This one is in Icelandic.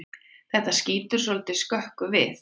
Þetta skýtur svolítið skökku við.